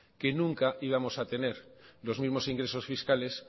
que nunca íbamos a tener los mismos ingresos fiscales